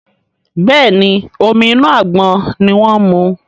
Béèni Omi inú àgbọn ní wón mu.